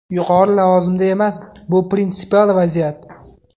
Yuqori lavozimda emas, bu prinsipial vaziyat.